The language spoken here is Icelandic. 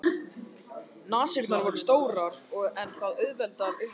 Nasirnar voru stórar en það auðveldar upptöku súrefnis.